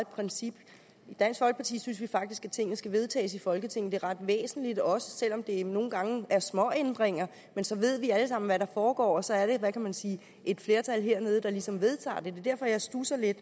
princip i dansk folkeparti synes vi faktisk at tingene skal vedtages i folketinget det er ret væsentligt også selv om det nogle gange er småændringer men så ved vi alle sammen hvad der foregår og så er det hvad kan man sige et flertal hernede der ligesom vedtager det det er derfor jeg studser lidt